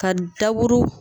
Ka daburu